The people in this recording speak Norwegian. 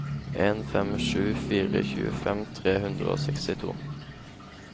en fem sju fire tjuefem tre hundre og sekstito